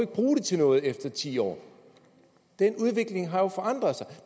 bruge det til noget efter ti år den udvikling har jo forandret sig